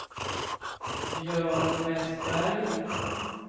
Björn Vestberg